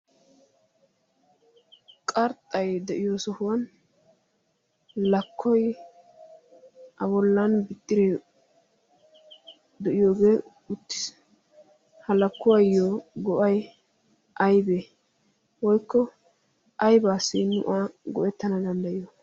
qarxxay de'iyo sohuwan lakkoi abollan bixxire de'iyoogee uttis. halakkuwaayyo go'ai aybee woykko aybaa si nu aa go'ettana danddayiyo?